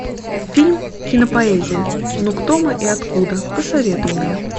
фильм кинопоэзия но кто мы и откуда посоветуй мне